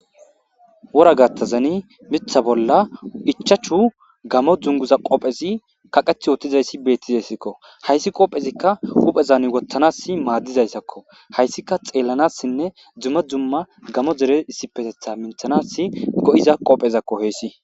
wora gattazani mitha bolla ichachu gamo dzunguza qophezi kaqeth yootizayssi beettizayssikko hayssi qopphezikka uphezan wottanas maaddizayssakko hayssika xeellanassinne dzumma dzumma gamo dere issipetetha minthanas go7iza qophezakko heessi